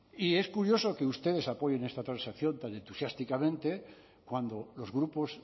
y es curioso que ustedes apoyen esta transacción tan entusiásticamente cuando los grupos